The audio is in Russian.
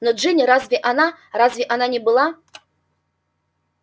но джинни разве она разве она не была